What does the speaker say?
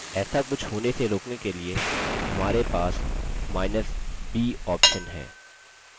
ऐसा कुछ होने से रोकने के लिए हमारे पास केपिटलb option है